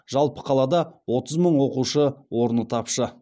жалпы қалада отыз мың оқушы орны тапшы